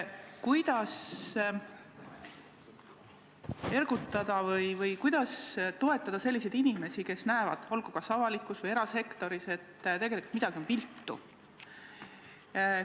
Kuidas ergutada või kuidas toetada selliseid inimesi, kes näevad – olgu avalikus või erasektoris –, et tegelikult on midagi viltu?